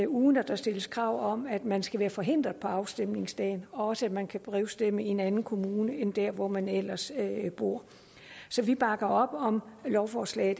uden der stilles krav om at man skal være forhindret på afstemningsdagen og også at man kan brevstemme i en anden kommune end der hvor man ellers bor så vi bakker op om lovforslag